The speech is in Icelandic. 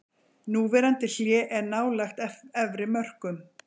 Núverandi hlé er nálægt efri mörkum.